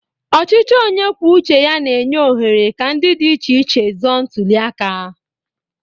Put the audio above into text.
Ọchịchị onye kwuo uche ya na-enye ohere ka ndị dị iche iche zọọ ntuli aka.